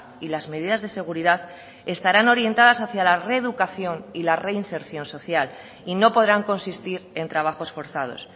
y las medidas de seguridad estarán orientadas hacia la reeducación y la reinserción social y no podrán consistir en trabajos forzados